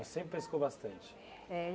Você sempre pescou bastante? É